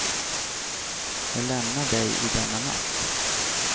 Jag lämnar dig i denna natt.